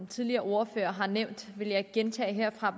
tidligere ordførere har nævnt vil jeg ikke gentage herfra